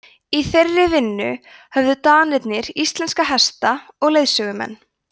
í þeirri vinnu höfðu danirnir íslenska hesta og leiðsögumenn